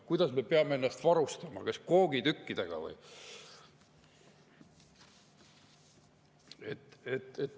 Kuidas me peame ennast, kas koogitükkidega või?